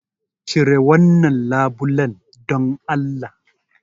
Cire wannan labulen dan Allah!